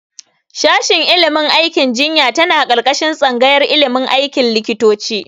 Shashin ilimin aikin jinya tana ƙarƙashin tsangayar ilimin aikin likitoci.